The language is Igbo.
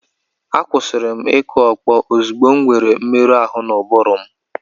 Akwụsịrị m ịkụ ọkpọ ozugbo m nwere mmerụ ahụ n'ụbụrụ m.